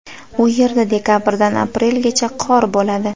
U yerda dekabrdan aprelgacha qor bo‘ladi.